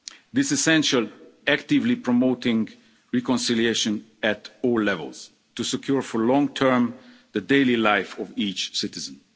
This is essentially actively promoting reconciliation at all levels to secure, for the long term, the daily life of each citizen.